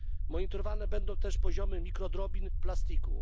Monitorowane będą też poziomy mikrodrobin plastiku.